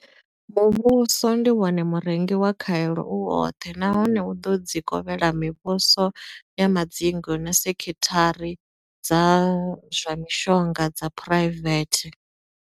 Muvhuso ndi wone murengi wa khaelo u woṱhe nahone u ḓo dzi kovhela mivhuso ya madzingu na sekhithara dza zwa mishonga dza phuraivethe.